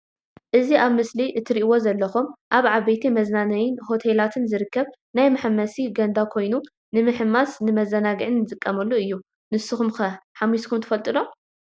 እዚ ኣብ ምስሊ እትርእዎ ዘለኩም ኣብ ዓበይቲ መዝናነይን ሆቴላትን ዝርከብ ናይ መሓንበሲ ገንዳ ኮይኑ ንምሕንባስን ንመዛናግዒን ዝጠቅም እዩ። ንስኩም ከ ሓንቢስኮም ዶ ትፈልጡ?